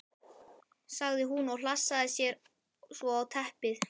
sagði hún og hlassaði sér svo á teppið.